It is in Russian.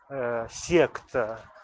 аа секта